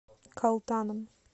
калтаном